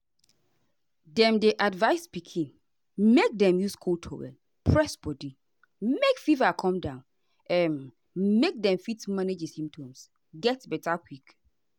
dem dey advise pikin make dem use cold towel press body make fever come down um make dem fit manage di symptoms get beta quick.